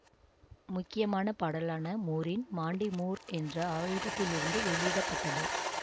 முக்கியமான பாடலான மூரின் மாண்டி மூர் என்ற ஆல்பத்திலிருந்து வெளியிட பட்டது